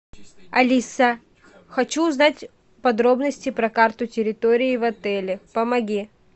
алиса хочу узнать подробности про карту территории в отеле помоги